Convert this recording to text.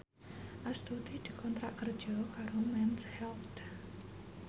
Astuti dikontrak kerja karo Mens Health